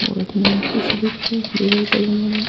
औ अडीने माटी सी दिखे है डिवाइडर बनायेडा है।